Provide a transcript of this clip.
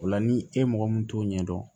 O la ni e mɔgɔ min t'o ɲɛdɔn